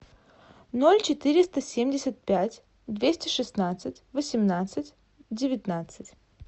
ноль четыреста семьдесят пять двести шестнадцать восемнадцать девятнадцать